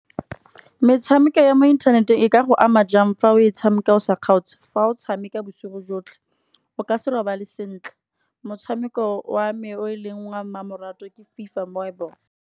Metshameko ya mo inthaneteng e ka go ama jang fa o tshameka o sa kgaotse. Fa o tshameka bosigo jotlhe, o ka se robale sentle. Motshameko o a mme o e leng wa mmamoratwa ke FIFA mobile.